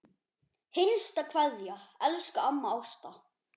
HINSTA KVEÐJA Elsku amma Ásta.